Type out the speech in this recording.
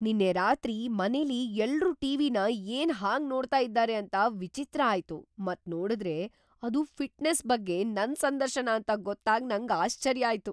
ನಿನ್ನೆ ರಾತ್ರಿ ಮನೇಲಿ ಎಲ್ರೂ ಟಿವಿನ ಏನ್ ಹಾಗ್ ನೋಡ್ತಾ ಇದ್ದಾರೆ ಅಂತ ವಿಚಿತ್ರ ಆಯ್ತು ಮತ್ ನೋಡುದ್ರೆ ಅದು ಫಿಟ್ನೆಸ್ ಬಗ್ಗೆ ನನ್ ಸಂದರ್ಶನ ಅಂತ ಗೊತ್ತಾಗ್ ನಂಗ್ ಆಶ್ಚರ್ಯ ಆಯ್ತು.!